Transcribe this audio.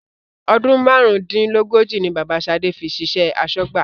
Ọdún márùn-ún-dín-lógójì ni Bàbá shade fi ṣiṣẹ́ asọ́gbà